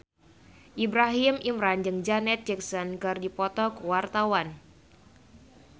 Ibrahim Imran jeung Janet Jackson keur dipoto ku wartawan